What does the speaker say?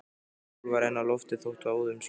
Sól var enn á lofti þótt óðum skyggði.